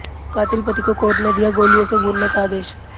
कातिल पति को कोर्ट ने दिया गोलियों से भूनने का आदेश